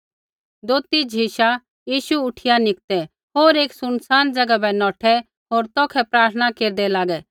दोथी झिशा यीशु उठिया निकतै होर एक सुनसान ज़ैगा बै नौठै होर तौखै प्रार्थना केरदै लागै